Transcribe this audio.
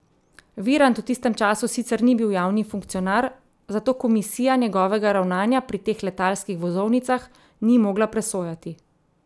Virant v tistem času sicer ni bil javni funkcionar, zato komisija njegovega ravnanja pri teh letalskih vozovnicah ni mogla presojati.